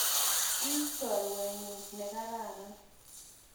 Ii chorwet ne kararan.